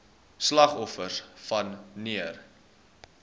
slagoffers wan neer